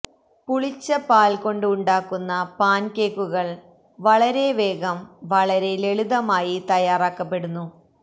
പുളിച്ച പാൽ കൊണ്ട് ഉണ്ടാക്കുന്ന പാൻകേക്കുകൾ വളരെ വേഗം വളരെ ലളിതമായി തയ്യാറാക്കപ്പെടുന്നു